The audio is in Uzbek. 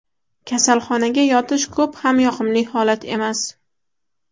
Kasalxonaga yotish ko‘p ham yoqimli holat emas.